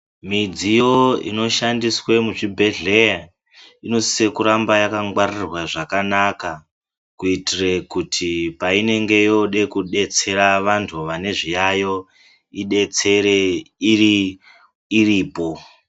Midziyo inoshandiswe muzvibhedhleya, inosise kuramba yakangwaririrwa zvakanaka, kuyitire kuti payinenge yode kudetsera vantu vanezviyayo idetsere iripo.